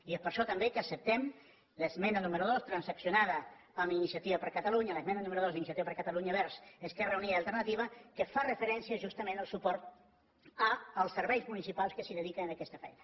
i és per això també que acceptem l’esmena número dos transaccionada amb iniciativa per catalunya l’esmena número dos d’iniciativa per catalunya verds esquerra unida i alternativa que fa referència justament al suport als serveis municipals que es dediquen a aquesta feina